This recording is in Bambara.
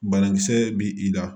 Banakisɛ bi i la